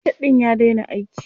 Soket ɗin ya daina aiki.